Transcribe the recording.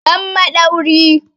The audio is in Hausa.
Give me screwdriver!